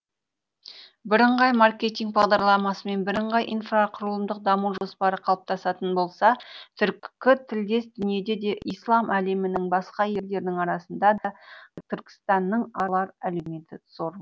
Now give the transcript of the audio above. бірыңғай маркетинг бағдарламасы мен бірыңғай инфрақұрылымдық даму жоспары қалыптасатын болса түркі тілдес дүниеде де ислам әлемінің басқа елдерінің арасында да түркістанның алар әлеуеті зор